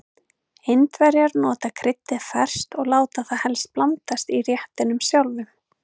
Indverjar nota kryddið ferskt og láta það helst blandast í réttinum sjálfum.